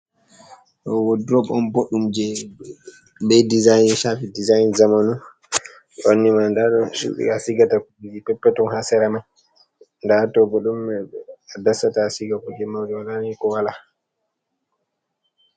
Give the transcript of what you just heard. Ɗoo wodurob booɗɗum jey bee ''design'' jey ''shafi dsign'' jamanu dow ɓanndu man ndaa woodi cuuɗi haa a sigata kuuje peppeton haa sera may. Ndaa haa too bo woodi haa a dasata a siga kuuje jamanu. Waala ni ko walaa.